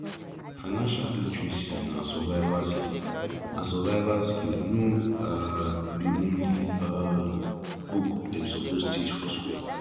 financial literacy na survival skill na survival skill no um be only um book dem suppose teach for school